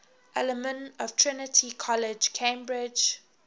alumni of trinity college cambridge